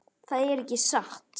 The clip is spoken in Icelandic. Það er ekki satt.